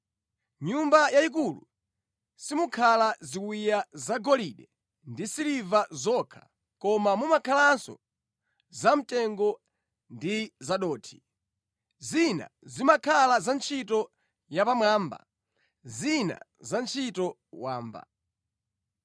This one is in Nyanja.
Mʼnyumba yayikulu simukhala ziwiya zagolide ndi zasiliva zokha, koma mumakhalanso zamtengo ndi zadothi. Zina zimakhala za ntchito yapamwamba, zina za ntchito wamba.